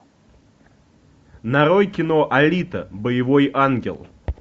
нарой кино алита боевой ангел